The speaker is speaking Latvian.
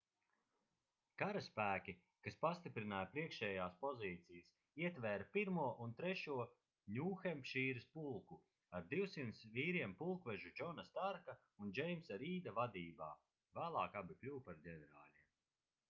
karaspēki kas pastiprināja priekšējās pozīcijas ietvēra 1. un 3. ņūhempšīras pulku ar 200 vīriem pulkvežu džona starka un džeimsa rīda vadībā vēlāk abi kļuva par ģenerāļiem